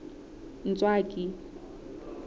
ntswaki